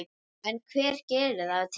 En hvað gerir það til